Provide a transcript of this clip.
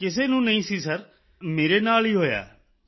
ਕਿਸੇ ਨੂੰ ਨਹੀਂ ਸੀ ਸਿਰ ਇਹ ਪਹਿਲਾ ਮੇਰੇ ਨਾਲ ਹੀ ਹੋਇਆ ਹੈ